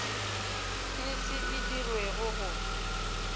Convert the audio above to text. e se e dirwego go